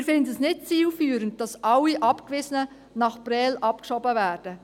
Wir finden es nicht zielführend, dass alle Abgewiesenen nach Prêles abgeschoben werden.